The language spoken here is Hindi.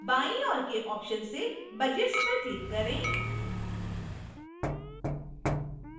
बाईं ओर के options से budgets पर click करें